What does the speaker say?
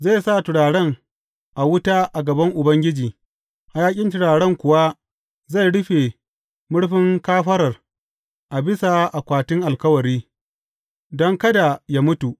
Zai sa turaren a wuta a gaban Ubangiji, hayaƙin turaren kuwa zai rufe murfin kafarar a bisa Akwatin Alkawari, don kada yă mutu.